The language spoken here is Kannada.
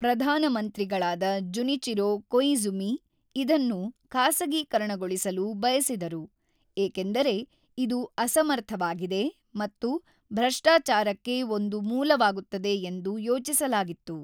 ಪ್ರಧಾನ ಮಂತ್ರಿಗಳಾದ ಜುನಿಚಿರೋ ಕೊಇಝುಮಿ ಇದನ್ನು ಖಾಸಗೀಕರಣಗೊಳಿಸಲು ಬಯಸಿದರು ಏಕೆಂದರೆ ಇದು ಅಸಮರ್ಥವಾಗಿದೆ ಮತ್ತು ಭ್ರಷ್ಟಾಚಾರಕ್ಕೆ ಒಂದು ಮೂಲವಾಗುತ್ತದೆ ಎಂದು ಯೋಚಿಸಲಾಗಿತ್ತು.